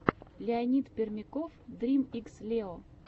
леонид пермяков дрим икс лео